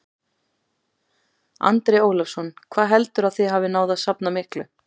Andri Ólafsson: Hvað heldurðu að þið hafið náð að safna miklu?